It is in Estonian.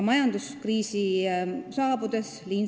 Majanduskriisi saabudes [...